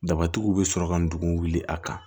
Daba tigiw bɛ sɔrɔ ka ndugu wuli a kan